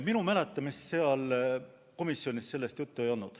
Minu mäletamist mööda komisjonis sellest juttu ei olnud.